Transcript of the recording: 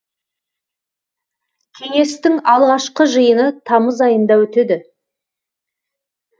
кеңестің алғашқы жиыны тамыз айында өтеді